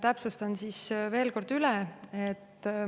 Täpsustan veel kord üle.